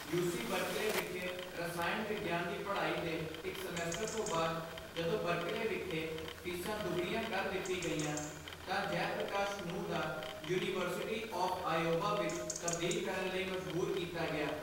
UC Berkeley ਵਿਖੇ ਰਸਾਇਣ ਵਿਗਿਆਨ ਦੀ ਪੜ੍ਹਾਈ ਦੇ ਇੱਕ ਸਮੈਸਟਰ ਤੋਂ ਬਾਅਦ, ਜਦੋਂ ਬਰਕਲੇ ਵਿਖੇ ਫੀਸਾਂ ਦੁੱਗਣੀਆਂ ਕਰ ਦਿੱਤੀ ਗਈਆ ਤਾਂ ਜੈਪ੍ਰਕਾਸ਼ ਨੂੰ ਦਾ ਯੂਨੀਵਰਸਿਟੀ ਆਫ਼ ਆਇਓਵਾ ਵਿੱਚ ਤਬਦੀਲ ਕਰਨ ਲਈ ਮਜਬੂਰ ਕੀਤਾ ਗਿਆ।